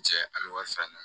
Cɛn an bɛ wari sara an ma